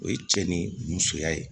O ye cɛ ni musoya ye